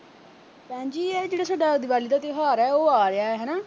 ਭੈਣ ਜੀ ਇਹ ਜਿਹੜਾ ਸੋਡਾ ਦਿਵਾਲੀ ਦਾ ਤਿਉਹਾਰ ਐ ਉਹ ਆ ਰਿਹਾ ਹਨਾ।